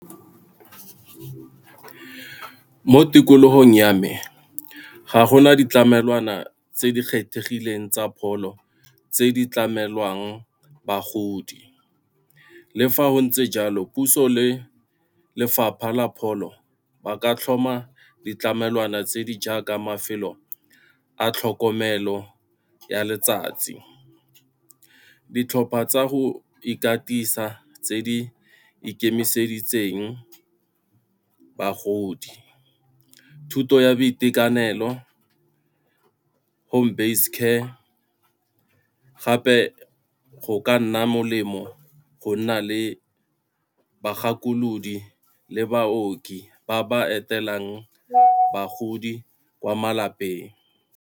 Mo tikologong ya me ga gona ditlamelwana tse di kgethegileng tsa pholo tse di tlamelwang bagodi, le fa go ntse jalo puso le lefapha la pholo ba ka tlhoma ditlamelwana tse di jaaka mafelo a tlhokomelo ya letsatsi. Ditlhopha tsa go ikatisa tse di ikemiseditseng bagodi, thuto ya boitekanelo, home base care, gape go ka nna molemo go nna le bagakolodi le baoki ba ba etelang bagodi kwa malapeng.